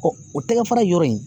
o tɛgɛ fara yɔrɔ in